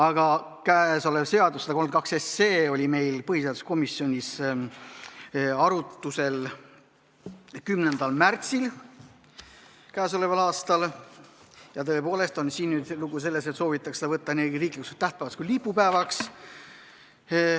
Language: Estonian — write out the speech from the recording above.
Aga käesolev eelnõu 132 oli põhiseaduskomisjonis arutlusel 10. märtsil k.a. Siin on nüüd lugu selles, et soovitakse seda teha nii riiklikuks tähtpäevaks kui ka lipupäevaks.